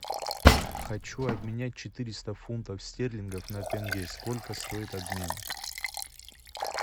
хочу обменять четыреста фунтов стерлингов на тенге сколько стоит обмен